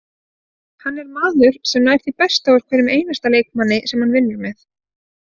Hann er maður sem nær því besta úr hverjum einasta leikmanni sem hann vinnur með.